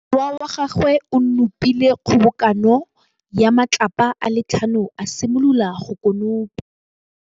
Morwa wa gagwe o nopile kgobokanô ya matlapa a le tlhano, a simolola go konopa.